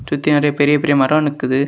சுத்தி நறைய பெரிய பெரிய மரம் நிக்குது.